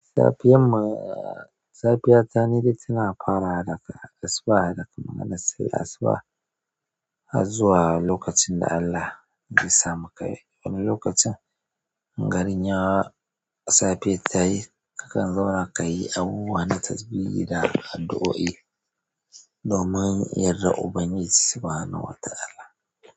Safiyan ma, safiya ta ne dai tana fara daga asuba, daga maganan sai asuba har zuwa lokacin da Allah ya samu ka yi. Wani lokacin garin yawa safe ta yi, kakan zauna ka yi abubuwa na tasbihi da addu'o'i domin yardar Ubangiji subhanahu wa ta'ala.